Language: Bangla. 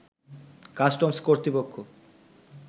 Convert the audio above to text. কাস্টমস কর্তৃপক্ষ